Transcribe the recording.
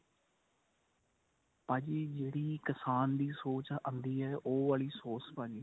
ਭਾਜੀ ਜਿਹੜੀ ਕਿਸਾਨ ਦੀ ਸੋਸ ਆਂਦੀ ਏ ਉਹ ਵਾਲੀ ਸੋਸ ਭਾਜੀ